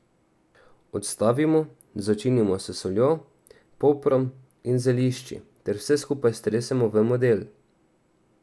Odstavimo, začinimo s soljo, poprom in zelišči ter vse skupaj stresemo v model.